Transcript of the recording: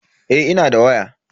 Eh ina da waya.